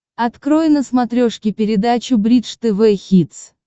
открой на смотрешке передачу бридж тв хитс